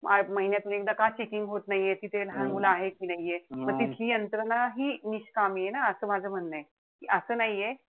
महिन्यातून एकदा का checking होत नाहीये. तिथे लहान मुलं आहे कि नाहीये. म तिथली यंत्रणा निष्कामि ए ना. असं माझं म्हणणंय. असं नाहीये,